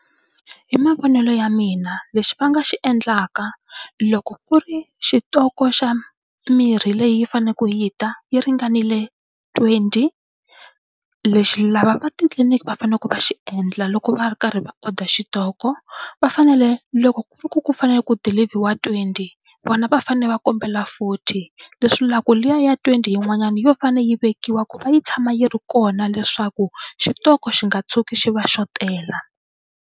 Hi mavonelo ya mina lexi va nga xi endlaka loko ku ri xitoko xa mirhi leyi faneleke yi ta yi ringanile twenty lexi lava va titliniki va faneleke va xi endla loko va ri karhi va order xitoko va fanele loko ku ri ku ku fanele ku dilivhiwa twenty vona va fanele va kombela forty leswi la ku liya ya twenty yin'wanyana yo fane yi vekiwa ku va yi tshama yi ri kona leswaku xitoko xi nga tshuki xi va xotela.